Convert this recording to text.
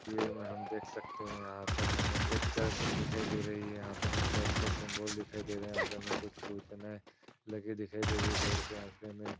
वीर मे हम देख सकते है यहाँ पर हमे एक चर्च दिखाई दे रही है यहाँ पे हमे चर्च की सिम्बल दिखाई दे रहा है यहाँ पे हमे कुछ सूचनाएं लगी दिखाई दे रही हैं बोर्ड पे यहाँ पे हमे --